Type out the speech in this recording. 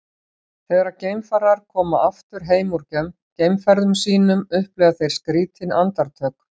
þegar geimfarar koma aftur heim úr geimferðum sínum upplifa þeir skrýtin andartök